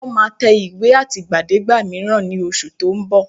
Wọ́n máa tẹ ìwé àtìgbàdégbà mìíràn ní oṣù tó ń bọ̀